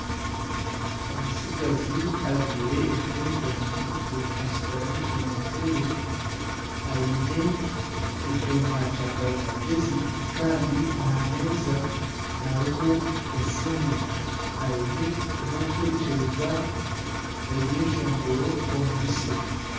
Omutsigazi ajwaire eshweta y'emikono migufu, ashutami omu ntebe aine ekyoma kyakarimagezi. Kandi aha meeza hariho esimu. Aine obwokuhurikiza ebyeshongoro omu bisya.